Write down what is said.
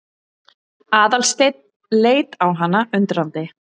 Aðalsteinn leit á hana undrandi.